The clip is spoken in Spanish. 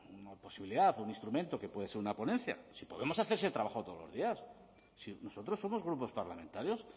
una posibilidad o un instrumento que puede ser una ponencia si podemos hacer ese trabajo todos los días si nosotros somos grupos parlamentarios